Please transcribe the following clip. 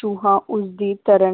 ਚੂਹਾ ਉਸਦੀ ਤਰ੍ਹਾਂ